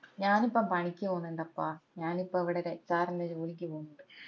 ഞാനിപ്പോ പണിക്ക് പൊന്നിണ്ടപ്പാ ഞാനിപ്പോ ഇവിടെ ഒരു HR ഇന്റെ ഒരു ജോലിക്ക് പൊന്നിണ്ട്